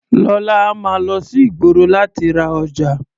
Lọ́la, a máa lọ sí ìgboro láti lọ ra ọjà.